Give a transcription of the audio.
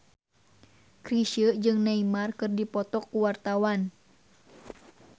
Chrisye jeung Neymar keur dipoto ku wartawan